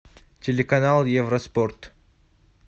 телеканал евроспорт